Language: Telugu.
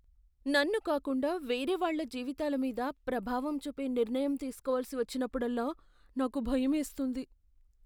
నన్ను కాకుండా వేరేవాళ్ళ జీవితాల మీద ప్రభావం చూపే నిర్ణయం తీసుకోవలసి వచ్చినప్పుడల్లా నాకు భయమేస్తుంది .